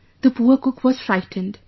The poor cook was frightened